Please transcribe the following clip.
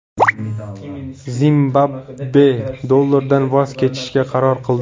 Zimbabve dollardan voz kechishga qaror qildi.